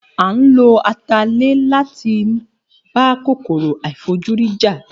A lo atalẹ̀ máa ń bá kòkòrò àìfojúrí jà